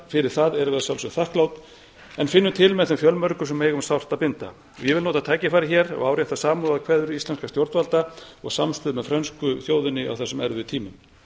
fyrir það erum við að sjálfsögðu þakklát en finnum til með þeim fjölmörgu sem eiga um sárt að binda ég vil nota tækifærið hér og árétta samúðarkveðjur íslenskra stjórnvalda og samstöðu með frönsku þjóðinni á þessum erfiðu tímum